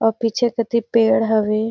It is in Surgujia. और पीछे कोती पेड़ हवे।